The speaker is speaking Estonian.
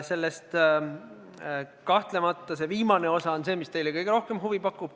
Kahtlemata on selle viimane osa see, mis teile kõige rohkem huvi pakub.